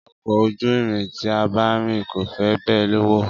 Ọkọ̀ ojú irin tí a bá rìn kò fi bẹ́ẹ̀ wọ̀.